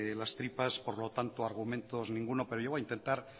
las tripas por lo tanto argumentos ninguno pero yo voy a intentar